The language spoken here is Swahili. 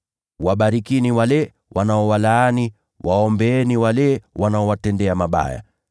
Wabarikini wale wanaowalaani, waombeeni wale wanaowatendea mabaya.